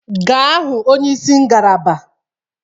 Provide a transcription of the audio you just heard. Gaa hụ onyeisi ngalaba!